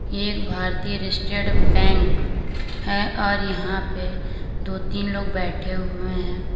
ये एक भारतीय स्टेट बैंक है और यहां पे दो तीन लोग बैठे हुए हैं।